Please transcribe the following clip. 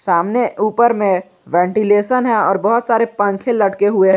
सामने ऊपर में वेंटिलेशन है और बहुत सारे पंखे लटके हुए--